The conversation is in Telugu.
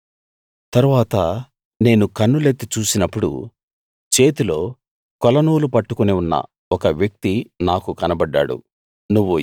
తరువాత నేను కన్నులెత్తి చూసినప్పుడు చేతిలో కొలనూలు పట్టుకుని ఉన్న ఒక వ్యక్తి నాకు కనబడ్డాడు